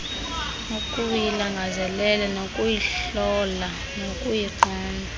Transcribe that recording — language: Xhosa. ukuyilangazelela nokuyihlola nokuyiqonda